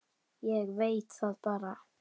Ég veit það bara.